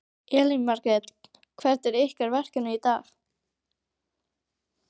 Elín Margrét: Hvert er ykkar verkefni í dag?